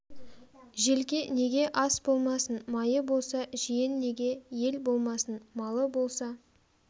желке неге ас болмасын майы болса жиен неге ел болмасын малы болса